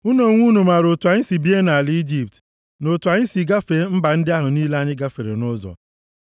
Unu onwe unu maara otu anyị si bie nʼala Ijipt, na otu anyị si gafee mba ndị ahụ niile anyị gafere nʼụzọ.